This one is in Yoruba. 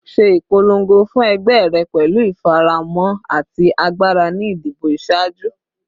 Ṣe ipolongo fun ẹgbẹ rẹ pẹlu ifaramọ ati agbara ni idibo iṣaaju